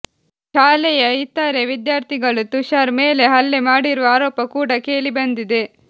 ಶಾಲೆಯ ಇತರೆ ವಿದ್ಯಾರ್ಥಿಗಳು ತುಶಾರ್ ಮೇಲೆ ಹಲ್ಲೆ ಮಾಡಿರುವ ಆರೋಪ ಕೂಡ ಕೇಳಿಬಂದಿದೆ